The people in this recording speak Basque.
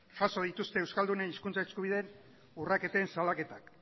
jaso dituzte euskaldunen hizkuntza eskubideen urraketen salaketak